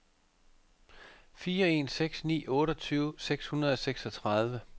fire en seks ni otteogtyve seks hundrede og seksogtredive